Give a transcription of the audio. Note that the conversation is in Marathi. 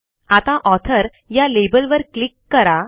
आता ऑथर या लेबलवर क्लिक करा